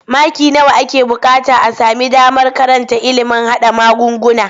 Maki nawa ake buƙata a sami damar karanta ilimin haɗa magunguna?